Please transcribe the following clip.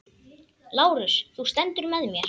LÁRUS: Þú stendur með mér.